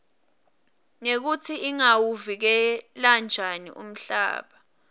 nekutsi singawuvikela njani umhlaba